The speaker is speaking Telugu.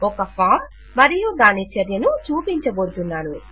ఒక ఫాం మరియు దాని చర్యను చూపించబోతున్నాను